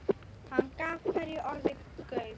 Hann gaf hverju orði gaum.